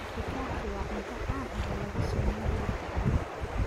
Meshikaki waa cunto caan ah oo lagu sameeyo hilibka ariga.